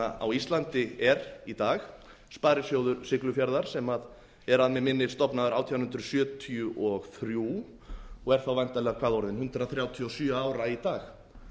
á íslandi er í dag sparisjóður siglufjarðar sem er að mig minnir stofnaður nítján hundruð sjötíu og þrjú og er væntanlega orðinn hundrað þrjátíu og sjö ára í dag